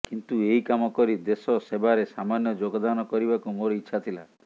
କିନ୍ତୁ ଏହି କାମ କରି ଦେଶ ସେବାରେ ସାମାନ୍ୟ ଯୋଗଦାନ କରିବାକୁ ମୋର ଇଚ୍ଛା ଥିଲା